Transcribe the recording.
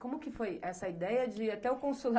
Como que foi essa ideia de ir até o consulado